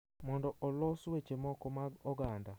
Mondo olos weche moko mag oganda,